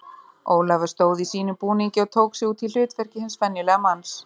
Ólafur stóð í sínum búningi og tók sig út í hlutverki hins venjulega manns.